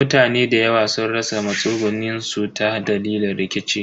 Mutane dayawa sun rasa matsugunin su ta dalilin rikici.